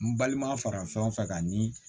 N balima fara fɛnw fɛ ka nii